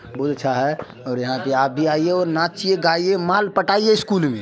बहुत आच्छा है और यहाँ पे आप भी आइए और नाचिए गाइए माल पटाइए स्कूल में| --